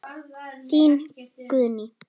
Þín, Guðný.